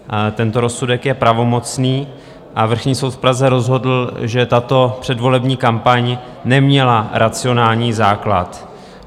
Tento rozsudek je pravomocný a Vrchní soud v Praze rozhodl, že tato předvolební kampaň neměla racionální základ.